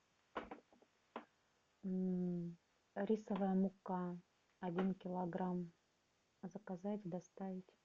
рисовая мука один килограмм заказать доставить